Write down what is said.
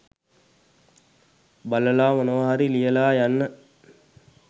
බලලා මොනවා හරි ලියලා යන්න